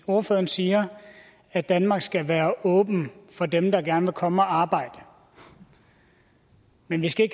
ordføreren siger at danmark skal være åben for dem der gerne vil komme og arbejde men vi skal